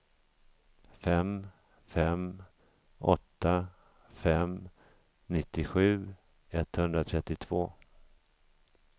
fem fem åtta fem nittiosju etthundratrettiotvå